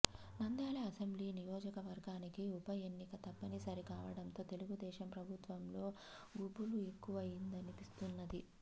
నంద్యాల అసెంబ్లీనియోజకవర్గానికి ఉప ఎన్నిక తప్పని సరి కావడంతో తెలుగుదేశం ప్రభుత్వం లో గుబులు ఎక్కువయిందనిపిస్తున్నది